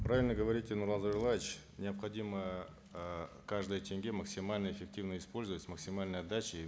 правильно говорите нурлан зайроллаевич необходимо эээ каждый тенге максимально эффективно использовать с максимальной отдачей